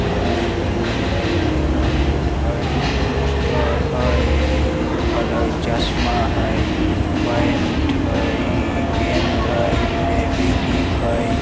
हय रोड हय carrom board हय पोस्टर हय इ लिखल हय चस्मा हय पेंट हय गेंद हय फेवी-क्विक हय।